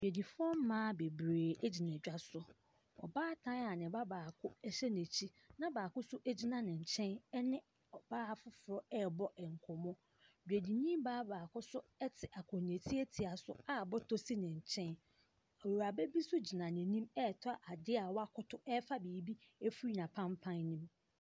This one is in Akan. Dwadifoɔ mmaa bebree gyina dwa so. Ɔbaatan a ne ba baako hyɛ n’akyi na baako nso gyina ne nkyɛn ne ɔbaa foforɔ ɛrebɔ nkɔmmɔ. Dwadini baa baako nso te akonnwa tiatia bi so a bɔtɔ si ne nkyɛn. Awuraba bii nso gyina n’anim ɛretɔ ade a wakoto ɛrefa biribi ɛfiri n’apampa ne mu.